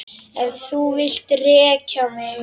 Ef þú vilt reka mig?